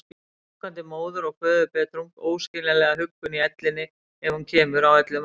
Gangandi móður- og föðurbetrung, óskiljanlega huggun í ellinni ef hún kemur, á öllum aldri.